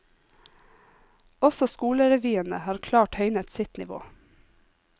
Også skolerevyene har klart høynet sitt nivå.